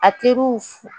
A teriw fu